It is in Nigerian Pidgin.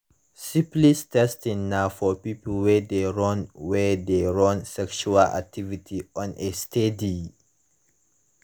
syphilis testing na for people wey de run wey de run sexual activity on a steady